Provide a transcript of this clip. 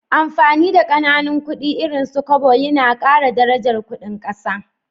Amfani da Kananan kudi irin su Kobo Yana Kara darajar Ƙudin ƙasa